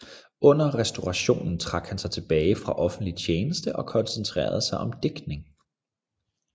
Under restaurationen trak han sig tilbage fra offentlig tjeneste og koncentrerede sig om digtning